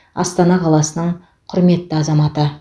астана қаласының құрметті азаматы